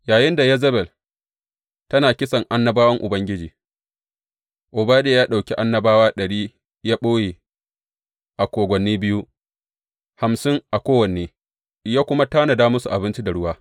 Yayinda Yezebel tana kisan annabawan Ubangiji, Obadiya ya ɗauki annabawa ɗari ya ɓoye a kogwanni biyu, hamsin a kowanne, ya kuma tanada musu abinci da kuma ruwa.